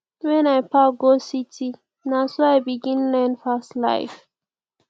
wen i pack go city na so i begin learn fast life